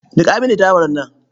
Niƙa mini dawar nan.